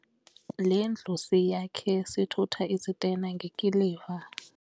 Le ndlu siyakhe sithutha izitena ngekiliva.